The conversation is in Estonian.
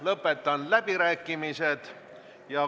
Lõpetan läbirääkimised.